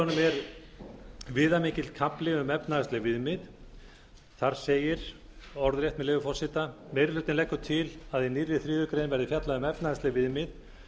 er viðamikill kafli um efnahagsleg viðmið þar segir orðrétt með leyfi forseta meiri hlutinn leggur til að í nýrri þriðju grein verði fjallað um efnahagsleg viðmið